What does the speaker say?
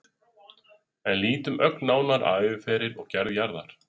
En lítum ögn nánar á æviferil og gerð jarðar.